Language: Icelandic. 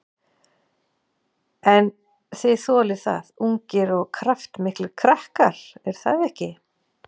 En þið þolið það, ungir og kraftmiklir krakkar, er það ekki?